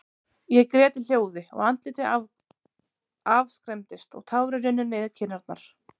Ég grét í hljóði, og andlitið afskræmdist, og tárin runnu niður kinnarnar.